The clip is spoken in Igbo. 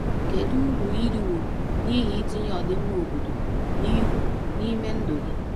Kedu uru i riworo n’ihi itinye ọdịmma obodo n’ihu n’ime ndụ gị?